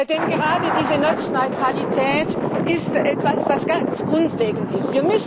Denn gerade diese Netzneutralität ist etwas, das ganz grundlegend ist.